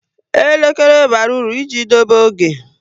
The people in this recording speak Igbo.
Elekere bara uru i ji dobe oge